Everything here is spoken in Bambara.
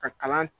Ka kalan